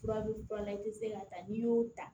Fura bɛ fura la i tɛ se k'a ta n'i y'o ta